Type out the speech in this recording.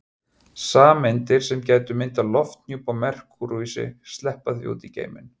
Sameindir sem gætu myndað lofthjúp á Merkúríusi sleppa því út í geiminn.